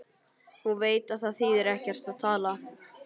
Hún veit að það þýðir ekkert að tala.